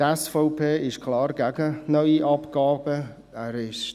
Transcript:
Die SVP ist klar gegen neue Abgaben.